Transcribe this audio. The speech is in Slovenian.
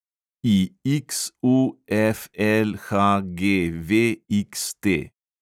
IXUFLHGVXT